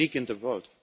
It is unique in the